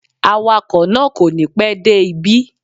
Awakọ̀ náà kò ní pẹ́ dé ibí